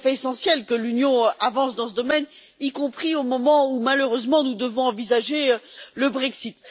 C'est tout à fait essentiel que l'Union avance dans ce domaine, y compris au moment où, malheureusement, nous devons envisager le Brexit.